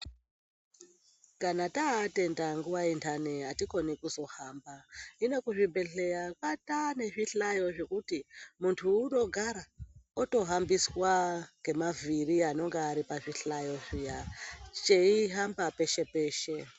Kana taatenda nguwaindani atikoni kuzohamba hino kuzvibhedhlera kwatanezvihlayo zvekuti muntu munogara otohambiswa nhemavhiri anonga aripazvihlayo zviya cheihamba peshe peshe.